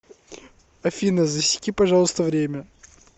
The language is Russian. афина засеки пожалуйста время